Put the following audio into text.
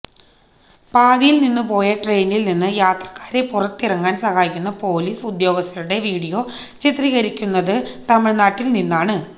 പാതിയിൽ നിന്നുപോയ ട്രെയിനിൽ നിന്ന് യാത്രക്കാരെ പുറത്തിറങ്ങാൻ സഹായിക്കുന്ന പൊലീസ് ഉദ്യോഗസ്ഥരുടെ വിഡിയോ ചിത്രീകരിച്ചിരിക്കുന്നത് തമിഴ് നാട്ടിൽ നിന്നാണ്